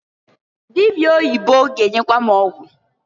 Dịbịa oyibo ga-enyekwa m ọgwụ.